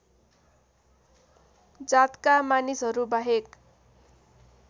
जातका मानिसहरू बाहेक